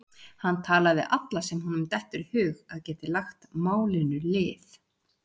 Hann talar við alla sem honum dettur í hug að geti lagt málinu lið.